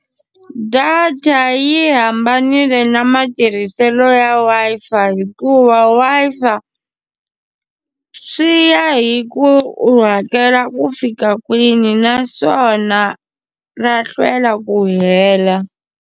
Data yi hambanile na matirhiselo ya Wi-Fi hikuva Wi-Fi swi ya hi ku u hakela ku fika kwini naswona ra hlwela ku hela.